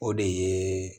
O de ye